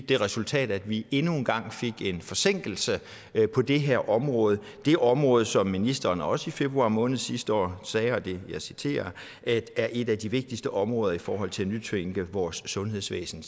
det resultat at vi endnu en gang fik en forsinkelse på det her område det område som ministeren også i februar måned sidste år sagde og jeg citerer er et af de vigtigste områder i forhold til at nytænke vores sundhedsvæsen